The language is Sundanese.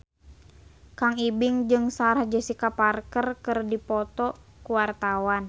Kang Ibing jeung Sarah Jessica Parker keur dipoto ku wartawan